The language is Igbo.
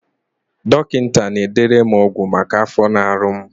Dọkịta na-edere m ọgwụ maka afọ na-arụ m